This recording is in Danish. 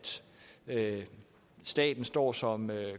at staten står som